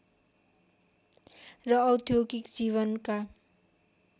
र औद्योगिक जीवनका